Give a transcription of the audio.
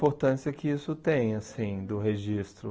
importância que isso tem assim do registro.